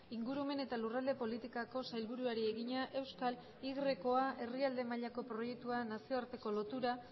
ingurumen eta lurralde politikako sailburuari egina euskal y a herrialde mailako proiektua nazioarteko lotura